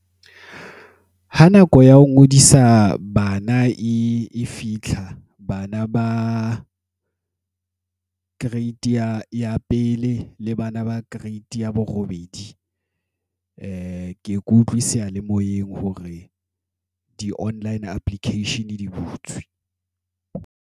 Ha nako ya ho ngodisa bana e fitlha bana ba Grade ya pele, le bana ba Grade ya bo robedi. ke utlwe seyalemoyeng hore di online application di butswe.